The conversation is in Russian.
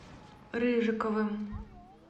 рыжиковым